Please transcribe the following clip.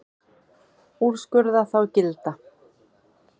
Úrskurða þá gilda.